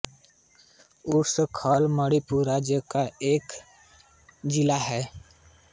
उखरुल भारत के मणिपुर राज्य का एक ज़िला है